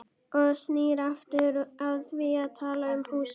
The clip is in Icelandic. Og snýr aftur að því að tala um húsið.